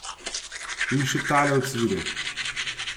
In še tale ocvirek.